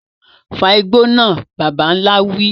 Fa igbó náà, bàbà ńlá wí.